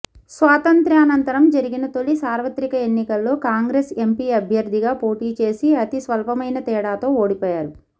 స్వాతంత్య్రానంతరం జరిగిన తొలి సార్వత్రిక ఎన్నికల్లో కాంగ్రెస్ ఎంపీ అభ్యర్థిగా పోటీ చేసి అతి స్వల్పమైన తేడాతో ఓడిపోయారు